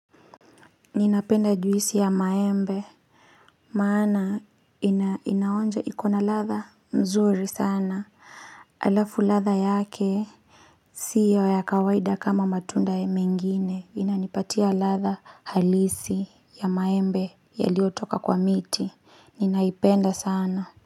Ninapenda juisi ya maembe maana inaonja ikona ladha mzuri sana Alafu ladha yake Sio ya kawaida kama matunda ya mengine inanipatia ladha halisi ya maembe yalio toka kwa miti ninaipenda sana.